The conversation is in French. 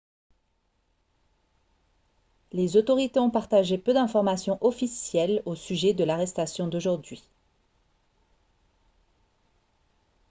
les autorités ont partagé peu d'informations officielles au sujet de l'arrestation d'aujourd'hui